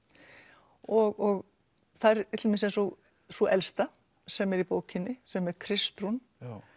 og þær til dæmis eins og sú elsta sem er í bókinni sem er Kristrún